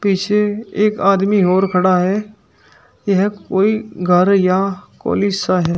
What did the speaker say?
पीछे एक आदमी और खड़ा है यह कोई घर या कॉलेज सा है।